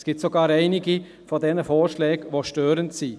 Es gibt sogar einige Vorschläge, die störend sind.